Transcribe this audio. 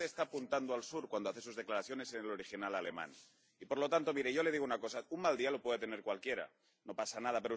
Usted está apuntando al sur cuando hace sus declaraciones en el original alemán y por lo tanto, mire, yo le digo una cosa un mal día lo puede tener cualquiera, no pasa nada.